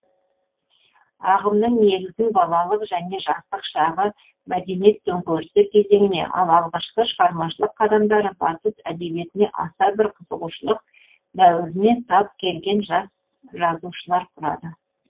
ағымның негізін балалық және жастық шағы мәдениет төңкерісі кезеңіне ал алғашқы шығармашылық қадамдары батыс әдебиетіне аса бір қызығушылық дәуіріне тап келген жас жазушылар құрады